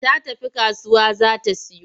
Ta tafi kasuwa za ta siyo.